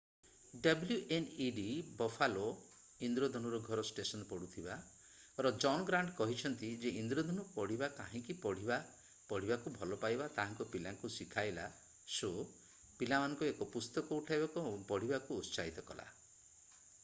wned Buffalo ଇନ୍ଦ୍ରଧନୁର ଘର station ପଢୁଥିବା ର ଜନ୍ ଗ୍ରାଣ୍ଟ କହିଛନ୍ତି ଯେ ଇନ୍ଦ୍ରଧନୁ ପଢିବା କାହିଁକି ପଢିବା ... ପଢିବାକୁ ଭଲପାଇବା - ତାହା ପିଲାଙ୍କୁ ଶିଖାଇଲା - [ଶୋ] ପିଲାମାନଙ୍କୁ ଏକ ପୁସ୍ତକ ଉଠାଇବାକୁ ଏବଂ ପଢିବାକୁ ଉତ୍ସାହିତ କଲା ।